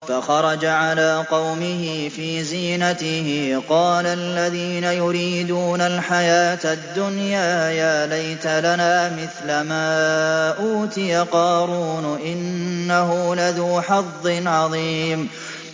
فَخَرَجَ عَلَىٰ قَوْمِهِ فِي زِينَتِهِ ۖ قَالَ الَّذِينَ يُرِيدُونَ الْحَيَاةَ الدُّنْيَا يَا لَيْتَ لَنَا مِثْلَ مَا أُوتِيَ قَارُونُ إِنَّهُ لَذُو حَظٍّ عَظِيمٍ